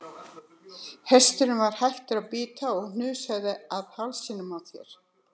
Hesturinn var hættur að bíta og hnusaði af hálsinum á þér.